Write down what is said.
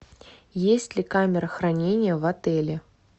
есть ли камера хранения в отеле